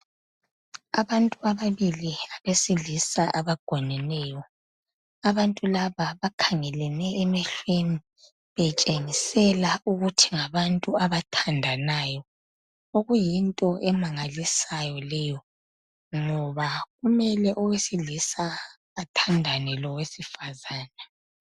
Abantu ababili abesilisa abagoneneyo, abantu laba bakhangeleni emehlweni betshingisela ukuthi ngabantu abathandanayo. Okuyinto emangalisayo leyo ngoba kumele owesilisa athandane ngowesifazane.